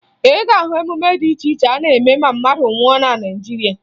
Ị ga-ahụ emume dị iche iche a na-eme ma mmadụ nwụọ na Naịjirịa